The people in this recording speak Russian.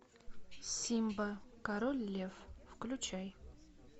симба король лев включай